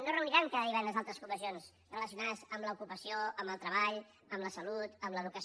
no reuniran cada divendres altres comissions relacionades amb l’ocupació amb el treball amb la salut amb l’educació